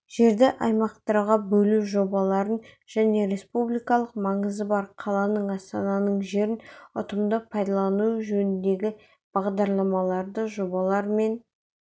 жерді аймақтарға бөлу жобаларын және республикалық маңызы бар қаланың астананың жерін ұтымды пайдалану жөніндегі бағдарламаларды жобалар мен